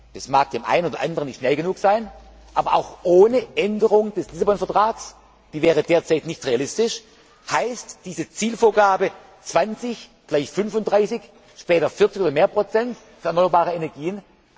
Das mag dem einen oder anderen nicht schnell genug sein, aber auch ohne Änderung des Vertrags von Lissabon die wäre derzeit nicht realistisch heißt diese Zielvorgabe 20, gleich 35, später 40 oder mehr Prozent an erneuerbaren Energien.